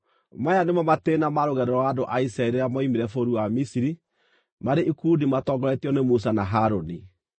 Maya nĩmo matĩĩna ma rũgendo rwa andũ a Isiraeli rĩrĩa moimire bũrũri wa Misiri marĩ ikundi matongoretio nĩ Musa na Harũni.